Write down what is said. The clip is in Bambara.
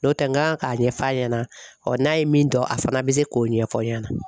N'o tɛ n kan k'a ɲɛf'a ɲɛna ɔ n'a ye min dɔn a fana bɛ se k'o ɲɛfɔ n ɲɛna.